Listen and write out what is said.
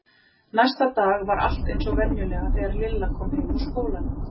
Næsta dag var allt eins og venjulega þegar Lilla kom heim úr skólanum.